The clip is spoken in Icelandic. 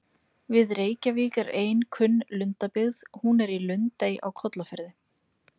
Við Reykjavík er ein kunn lundabyggð, hún er í Lundey á Kollafirði.